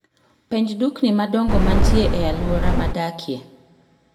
penj dukni madongo mantie e alwora madakie